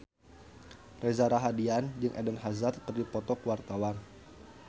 Reza Rahardian jeung Eden Hazard keur dipoto ku wartawan